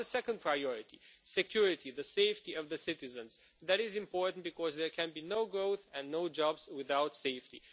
The second priority security, the safety of citizens is important because there can be no growth and no jobs without safety.